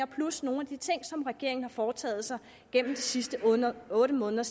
plus nogle af de ting som regeringen har foretaget sig gennem de sidste otte måneder